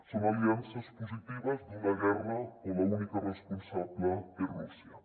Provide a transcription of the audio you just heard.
són aliances positives d’una guerra on l’única responsable és rússia